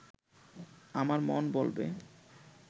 আমার মন বলবে